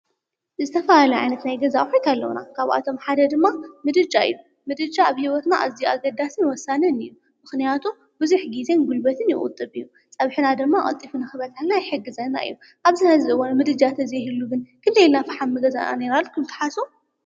ዝተፋላለዩ ዓየነት ናይ ገዛ ኣፍሪካ ኣለዉና፡፡ ካብኣቶም ሓደ ድማ ምድጃ ኢ ዩ፡፡ ምድጃ ኣብ ህይወትና እዚ ኣገዳስን ወሳንን ኢዩ፡፡ ምኽንያቱ ብዙሕ ጊዜን ጕልበትን ይቑጥብ እዩ፡፡ ፀብሕና ድማ ንኽበፅሐልና ይሕግዘና እዩ፡፡ ኣብ ዝሕዚ እዋን ምድጃ እንተዘይህሉ ነይሩ ግን ክንደይኢልና ፍሓም ምገዛእና ነይርና ኢልኩም ትሓስቡ?